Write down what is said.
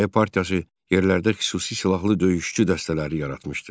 Difai partiyası yerlərdə xüsusi silahlı döyüşçü dəstələri yaratmışdı.